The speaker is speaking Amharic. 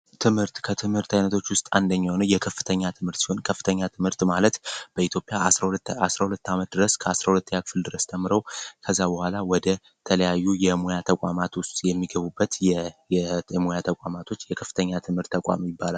ትምህርት ከትምህርት አይነቶች ውስጥ አንደኛው የከፍተኛ ትምህርት ሲሆን፤ ከፍተኛ ትምህርት ማለት በኢትዮጵያ እስከ 12ተኛ አመት ድረስ ተምረው ከዛ በኋላ ወደ ተለያዩ የሙያ ተቋማት ውስጥ የሚገቡበት የሞያ ተቋማት ውስጥ የከፍተኛ ትምህርት ተቋም ይባላል።